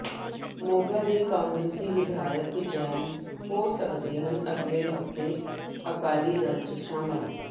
ਮੋਗਾ ਦੇ ਕਾਂਗਰਸੀ ਵਿਧਾਇਕ ਜੈਨ ਹੋ ਸਕਦੇ ਹਨ ਅਗਲੇ ਹਫਤੇ ਅਕਾਲੀ ਦਲ ਚ ਸ਼ਾਮਲ